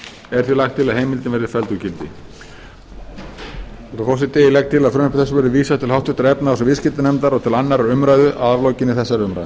er því lagt til að heimildin verði felld úr gildi frú forseti ég legg til að frumvarpi þessu verði vísað til háttvirtrar efnahags og viðskiptanefndar og til annarrar umræðu að aflokinni þessari umræðu